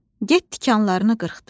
Get tikanlarını qırxdır.